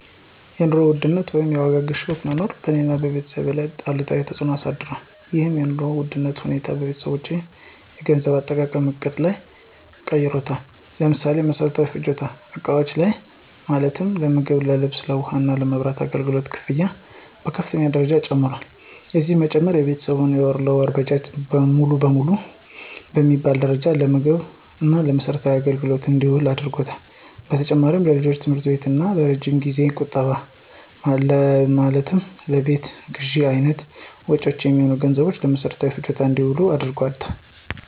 የኑሮ ውድነት ወይም የዋጋ ግሽበት መኖር በእኔ እና በቤተሰቤ ላይ አሉታዊ ተፅዕኖ አሳድሯል። ይህም የኑሮ ውድነት ሁኔታ የቤተሰባችንን የገንዘብ አጠቃቀም ዕቅድ ቀይሮታል። ለምሳሌ፦ በመሰረታዊ ፍጆታ እቃዎች ላይ ማለትም ለምግብ፣ ለልብስ፣ ለውሃ እና የመብራት አገልግሎት ክፍያዎች በከፍተኛ ደረጃ ጨምረዋል። የዚህም መጨመር የቤተሰብ የወር ለወር በጀት ሙሉ ለሙሉ በሚባል ደረጃ ለምግብ እና ለመሰረታዊ አገልግሎቶች እንዲውል አድርጓታል። በተጨማሪም ለልጆች የትምህርት እና የረጅም ጊዜያዊ ቁጠባ ማለትም ለቤት ግዥ አይነት መጭወች የሚሆን ገንዘብም ለመሰረታዊ ፍጆታ እንዲውል አድርጎታል።